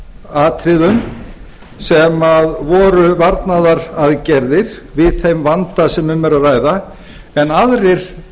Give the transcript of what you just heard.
atriðum sem voru varnaraðgerðir við þeim vanda sem um er að ræða en aðrir